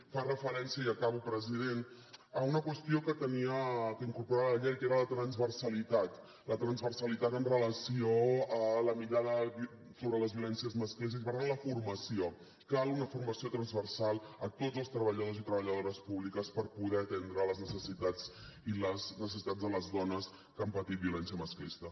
es fa referència i acabo president a una qüestió que incorporava la llei que era la transversalitat la transversalitat amb relació a la mirada sobre les violències masclistes i per tant la formació cal una formació transversal a tots els treballadors i treballadores públics per poder atendre les necessitats i les necessitats de les dones que han patit violència masclista